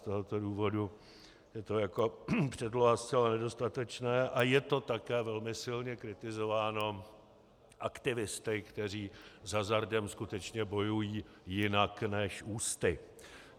Z tohoto důvodu je to jako předloha zcela nedostatečné a je to také velmi silně kritizováno aktivisty, kteří s hazardem skutečně bojují jinak než ústy.